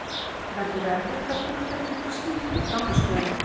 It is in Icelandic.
Verður erfitt að fylgja eftir slíkri frammistöðu?